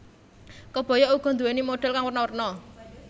Kebaya uga nduwéni modhel kang werna werna